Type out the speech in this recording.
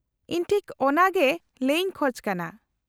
-ᱤᱧ ᱴᱷᱤᱠ ᱚᱱᱟᱜᱮ ᱞᱟᱹᱭ ᱤᱧ ᱠᱷᱚᱪ ᱠᱟᱱᱟ ᱾